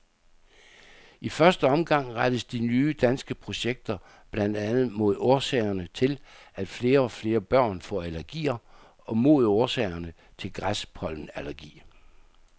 I første omgang rettes de nye danske projekter blandt andet mod årsagerne til, at flere og flere børn får allergier og mod årsagerne til græspollenallergi.